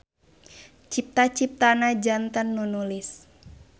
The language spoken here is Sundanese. Cipta-ciptana janten nu nulis.